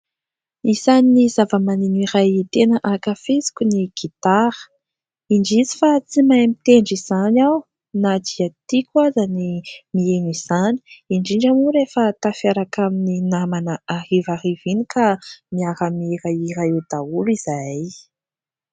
Isan'ny zava-maneno iray tena ankafiziko ny gitara ; indrisy fa tsy mahay mitendry izany aho na dia tiako aza ny mihaino izany, indrindra moa rehefa tafaraka amin'ny namana harivariva iny ka miara mihirahira eo daholo izahay.